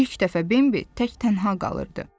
İlk dəfə Bembi tək tənha qalırdı.